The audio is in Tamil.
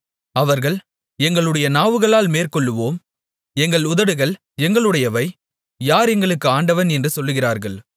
அவர்கள் எங்களுடைய நாவுகளால் மேற்கொள்ளுவோம் எங்கள் உதடுகள் எங்களுடையவை யார் எங்களுக்கு ஆண்டவன் என்று சொல்லுகிறார்கள்